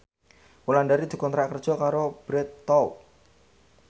Wulandari dikontrak kerja karo Bread Talk